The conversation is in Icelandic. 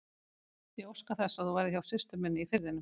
Ég óska þess að þú verðir hjá systur minni í Firðinum.